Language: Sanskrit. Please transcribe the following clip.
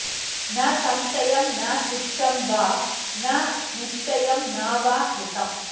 न संशयं न तुच्छं वा न निश्चयं न वा कृतम्